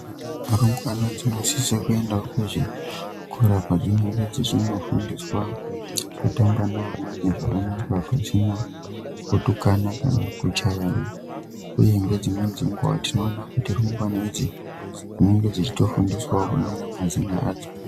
Rumbwana dzinosisa kuendavo kuzvikora padzinenge dzichinofundiswa kutamba neamweni zvakanaka pasina kutukana kana kuchayana, uye nedzimweni dzenguva tinoona kuti rumbwana idzi dzinonga dzichito fundiswavo kunyora mazina adzo.